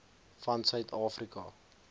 van suid afrika